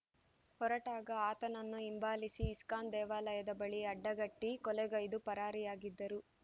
ಹೊರಟಾಗ ಆತನನ್ನು ಹಿಂಬಾಲಿಸಿ ಇಸ್ಕಾನ್ ದೇವಾಲಯದ ಬಳಿ ಅಡ್ಡಗಟ್ಟಿ ಕೊಲೆಗೈದು ಪರಾರಿಯಾಗಿದ್ದರು